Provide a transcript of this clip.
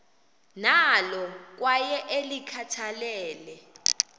nalo kwaye ulikhathalele